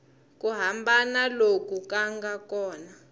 ku hambana loku nga kona